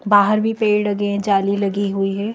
बाहर भी पेड़ लगे हैं जाली लगी हुई है।